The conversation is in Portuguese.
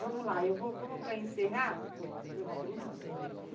Vamos lá, vamos para encerrar?